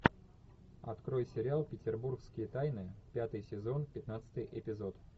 открой сериал петербургские тайны пятый сезон пятнадцатый эпизод